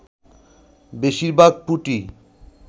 বেশির ভাগ পুঁটি